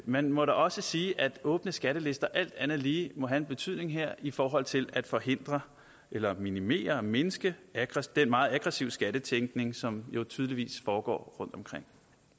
man må da også sige at åbne skattelister alt andet lige må have en betydning her i forhold til at forhindre eller minimere og mindske den meget aggressive skattetænkning som jo tydeligvis foregår rundtomkring